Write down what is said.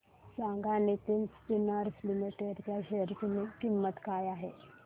सांगा Nitin spinners limited च्या share ची किंमत काय आहे